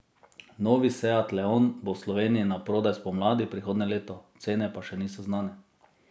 Novi seat leon bo v Sloveniji naprodaj spomladi prihodnje leto, cene pa še niso znane.